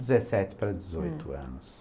Dezessete para dezoito anos.